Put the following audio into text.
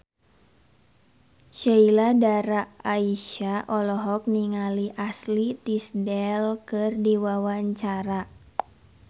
Sheila Dara Aisha olohok ningali Ashley Tisdale keur diwawancara